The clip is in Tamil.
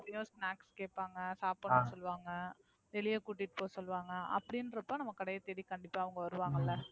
snacks கேப்பாங்க சாப்டனும்னு சொல்லுவாங்க வெளிய கூட்டிட்டு போக சொல்லுவாங்க. அப்படின்றப்ப நம்ம கடையை தேடி கண்டிப்பா அவுங்க வருவாங்கல்ல.